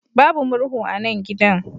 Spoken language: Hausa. Babu murhu a nan gidan.